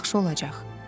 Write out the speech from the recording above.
Yaxşı olacaq.